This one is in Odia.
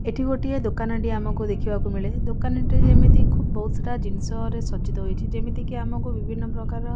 ଏଠି ଗୋଟିଏ ଦୋକାନ ଟିଏ ଆମକୁ ଦେଖିବାକୁ ମିଳେ ଦୋକାନ ଟି ଯେମିତି ଖୁବ୍ ବହୁତ୍ ସାରା ଜିନିଷର ରେ ସଜ୍ଜିତ ହୋଇଛି ଯେମିତିକି ଆମକୁ ବିଭିନ୍ନ ପ୍ରକାର --